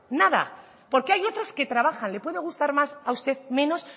nada porque hay otros que trabajan le puede gustar más a usted menos